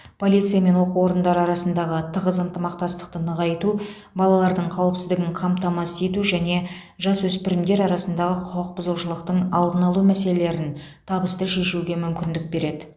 полиция мен оқу орындары арасындағы тығыз ынтымақтастықты нығайту балалардың қауіпсіздігін қамтамасыз ету және жасөспірімдер арасындағы құқық бұзушылықтың алдын алу мәселелерін табысты шешуге мүмкіндік береді